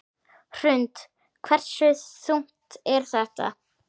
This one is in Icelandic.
Hrund: Hversu þungt er þetta?